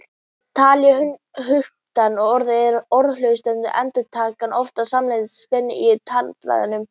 Talið er höktandi, orð eða orðhlutar eru endurtekin, oft samfara mikilli spennu í talfærum.